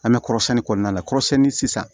An bɛ kɔrɔsiyɛnni kɔɔna la kɔrɔsiyɛnni sisan